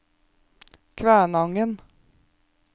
Kvænangen